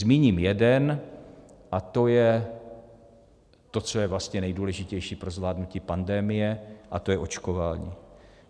Zmíním jeden, a to je to, co je vlastně nejdůležitější pro zvládnutí pandemie, a to je očkování.